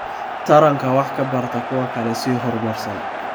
Taranka wax ka barta kuwa kale si horumarsan.